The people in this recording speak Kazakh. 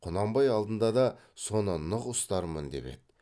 құнанбай алдында да соны нық ұстармын деп еді